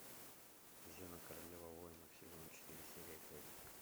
зена королева воинов сезон четыре серия пять